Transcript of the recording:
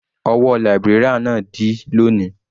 Ọwọ́ librarian náà dí lóni.